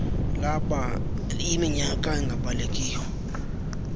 laba yiminyaka engabalekiyo